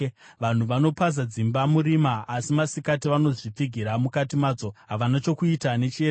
Vanhu vanopaza dzimba murima, asi masikati vanozvipfigira mukati madzo; havana chokuita nechiedza.